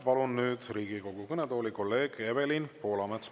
Palun nüüd Riigikogu kõnetooli kolleeg Evelin Poolametsa.